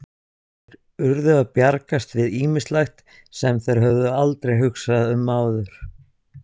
Þeir urðu að bjargast við ýmislegt, sem þeir höfðu aldrei hugsað um áður.